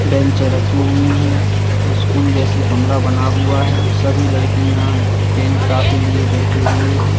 Bench रखी हुई है स्कूल जैसे कमरा बना हुआ है सभी लड़कियां पेन कापी लिए बैठे हुए हैं।